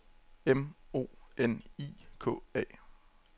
M O N I K A